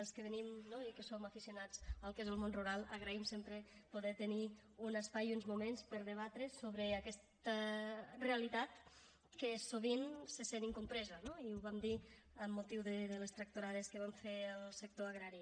els que venim no i que som aficionats al que és el món rural agraïm sempre poder tenir un espai i uns moments per debatre sobre aquesta realitat que sovint se sent incompresa no i ho vam dir amb motiu de les tractorades que va fer el sector agrari